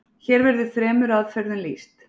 Hér verður þremur aðferðum lýst.